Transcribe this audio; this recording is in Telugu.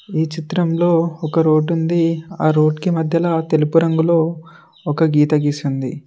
ఈ చిత్రంలో ఒక రోడ్డు ఉంది ఆ రోడ్డుకి మధ్యల తెలుపు రంగులో ఒక గీత గీసి ఉంది.